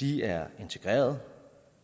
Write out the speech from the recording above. de er integreret